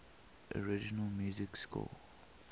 original music score